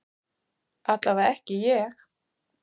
Allavega ekki ég.